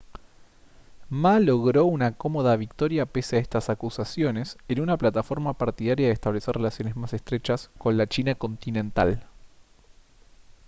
ma logró una cómoda victoria pese a estas acusaciones en una plataforma partidaria de establecer relaciones más estrechas con la china continental